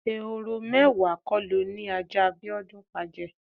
Ehoro mé̩wàá ko lo ni ajá Bíó̩dún pa je̩?